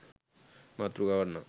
මාත්‍යකාව නම්